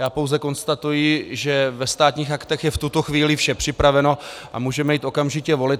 Já pouze konstatuji, že ve Státních aktech je v tuto chvíli vše připraveno a můžeme jít okamžitě volit.